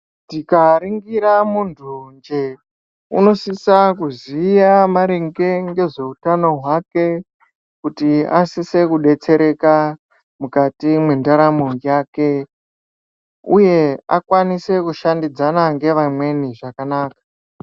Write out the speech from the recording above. Tikaringira muntu nje unosisa kuziya maringe ngezveutano hwake kuti asise kubetsereka mukati mendaramo yake uye akwanise kushandidzana nevamweni zvakanaka